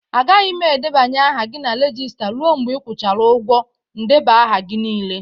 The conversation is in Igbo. Agaghị m edebanye aha gị na regista ruo mgbe ị kwụchara ụgwọ ndeba aha gị niile.